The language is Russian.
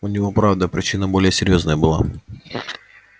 у него правда причина более серьёзная была